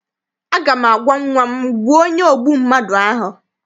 Aga m agwa nnwa m, gbuo onye ogbu mmadụ ahụ!